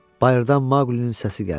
Bayırdan Maqlinin səsi gəldi.